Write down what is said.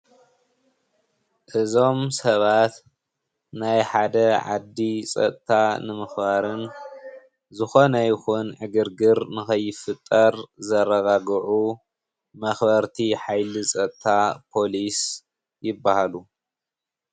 እዞም ሰባት ናይ ሓደ ዓዲ ፀጥታ ንምክባርን ዝኮነ ይኩን ዕግርግር ንከይፍጠር ዘረጋግዑ መክበርቲ ሓይሊ ፀጥታ ፖሊስ ይባህሉ።